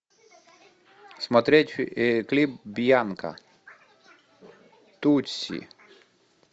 смотреть клип бьянка тутси